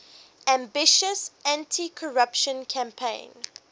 ambitious anticorruption campaign